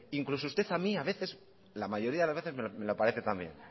incluso usted a mí a veces la mayoría de las veces me lo parece también